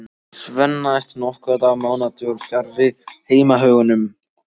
Svenna eftir nokkurra mánaða dvöl fjarri heimahögunum.